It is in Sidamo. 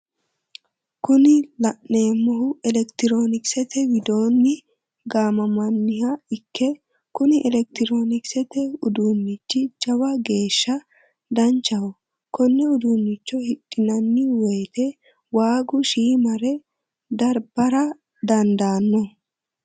kuni la'neemohu elektiroonikisete wido gaamanniha ikke kuni elektiroonikisete uduunichi jawa geeshsha danchaho konne uduunicho hidhinanni woyii waagu shiimare darbara dandaanno.